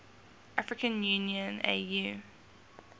african union au